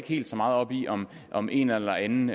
helt så meget op i om om en eller anden